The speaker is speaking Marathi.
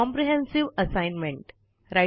comprehensive assignment